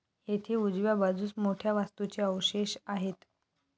येथे उजव्या बाजूस मोठ्या वास्तूचे अवशेष आहेत.